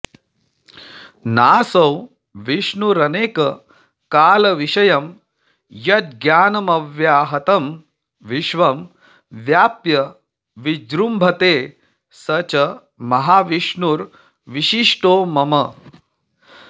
नासौ विष्णुरनेककालविषयं यज्ज्ञानमव्याहतं विश्वं व्याप्य विजृम्भते स च महाविष्णुर्विशिष्टो मम